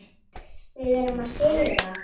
Þögn og beðið í ofvæni.